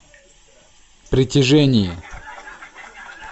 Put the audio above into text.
притяжение